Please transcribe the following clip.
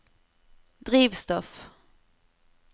drivstoff